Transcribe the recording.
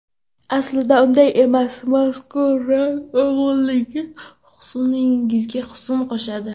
Aslida unday emas, mazkur ranglar uyg‘unligi husningizga husn qo‘shadi.